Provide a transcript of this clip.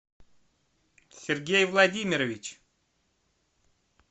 сергей владимирович